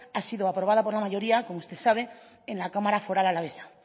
ha sido aprobada por una mayoría como usted sabe en la cámara foral alavesa